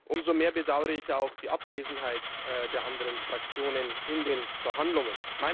Umso mehr bedauere ich die Abwesenheit der anderen Fraktionen in den Verhandlungen.